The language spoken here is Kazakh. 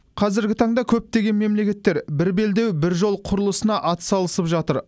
қазіргі таңда көптеген мемлекеттер бір белдеу бір жол құрылысына атсалысып жатыр